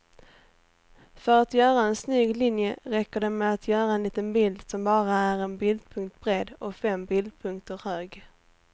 För att göra en snygg linje räcker det med att göra en liten bild som bara är en bildpunkt bred och fem bildpunkter hög.